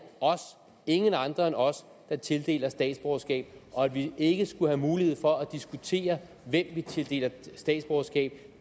os ingen andre end os der tildeler statsborgerskab at vi ikke skulle have mulighed for at diskutere hvem vi tildeler statsborgerskab